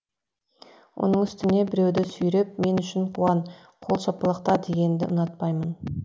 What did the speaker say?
оның үстіне біреуді сүйреп мен үшін қуан қол шапалақта дегенді ұнатпаймын